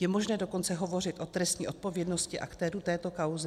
Je možné dokonce hovořit o trestní odpovědnosti aktérů této kauzy?